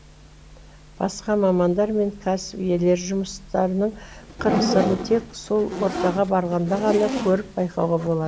басқа мамандар мен кәсіп иелері жұмыстарының қыр сырын тек сол ортаға барғанда ғана көріп байқауға болады